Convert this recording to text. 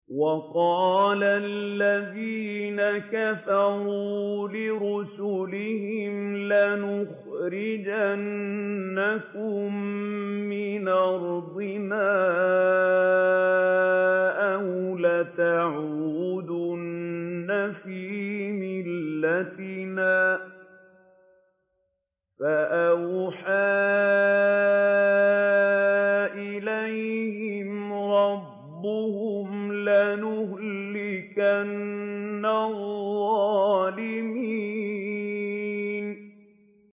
وَقَالَ الَّذِينَ كَفَرُوا لِرُسُلِهِمْ لَنُخْرِجَنَّكُم مِّنْ أَرْضِنَا أَوْ لَتَعُودُنَّ فِي مِلَّتِنَا ۖ فَأَوْحَىٰ إِلَيْهِمْ رَبُّهُمْ لَنُهْلِكَنَّ الظَّالِمِينَ